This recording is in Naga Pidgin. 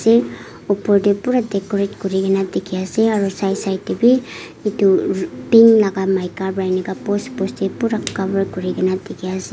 opor teh purah decorate kuri kena dikhi ase aro side side tebhi itu pink laga maikah wa inka post post teh purah cover kuri kena dikhi ase.